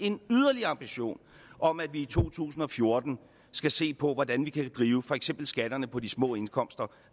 en yderligere ambition om at vi i to tusind og fjorten skal se på hvordan vi kan drive for eksempel skatterne på de små indkomster